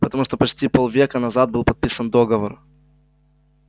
потому почти полвека назад был подписан договор